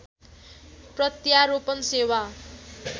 प्रत्यारोपण सेवा